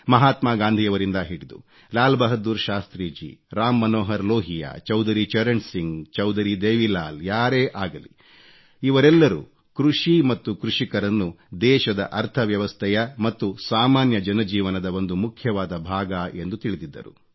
ಮಹಾತ್ಮ ಗಾಂಧಿಯವರಿಂದ ಹಿಡಿದು ಲಾಲ್ ಬಹದ್ದೂರ್ ಶಾಸ್ತ್ರೀಜಿ ರಾಮ್ ಮನೋಹರ್ ಲೋಹಿಯಾ ಚೌಧರಿ ಚರಣ್ ಸಿಂಗ್ ಚೌಧರಿ ದೇವಿಲಾಲ್ ಯಾರೇ ಅಗಲಿ ಇವರೆಲ್ಲರೂ ಕೃಷಿ ಮತ್ತು ಕೃಷಿಕರನ್ನು ದೇಶದ ಅರ್ಥವ್ಯವಸ್ಥೆಯ ಮತ್ತು ಸಾಮಾನ್ಯ ಜನ ಜೀವನದ ಒಂದು ಮುಖ್ಯವಾದ ಭಾಗ ಎಂದು ತಿಳಿದಿದ್ದರು